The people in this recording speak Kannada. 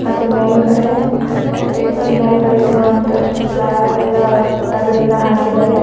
ಮತ್ತೆ ಮೇಲ್ಗಡೆ ಟೇಬಲ್ ಮೇಲ್ಗಡೆ ಇರೋ ಅಂತ ಪ್ಲಯ್ವುಡ್ ಎಲ್ಲಾ ತಗಡಿಂದ ಹಾಕಿದ್ದಾರೆ.